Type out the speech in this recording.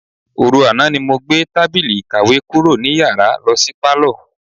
Òru àná ni mo gbé tábìlì ìkàwé kúrò ní yàrá lo̩ sí pálò̩.